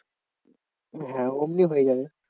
হ্যাঁ অমনি হয়ে যাবে।